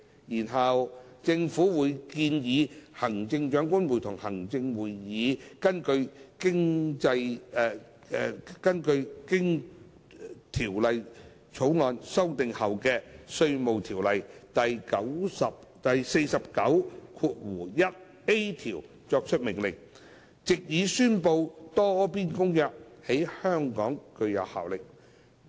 然後，政府會建議行政長官會同行政會議根據經《條例草案》修訂後的《稅務條例》第49條作出命令，藉以宣布《多邊公約》在香港具有效力。